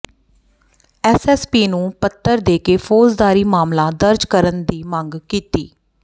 S S P ਨੂੰ ਪੱਤਰ ਦੇ ਕੇ ਫੌਜਦਾਰੀ ਮਾਮਲਾ ਦਰਜ ਕਰਨ ਦੀ ਮੰਗ ਕੀਤੀ